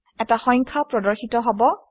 এটা সংখ্যা প্ৰদৰ্শিত হব